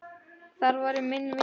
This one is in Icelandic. Þar væri minni vindur.